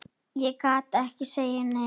Ég gat ekki sagt nei.